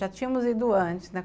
Já tínhamos ido antes, né?